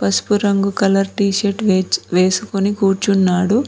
పసుపు రంగు colour t shirt వెచ్ వేసుకొని కూర్చున్నాడు.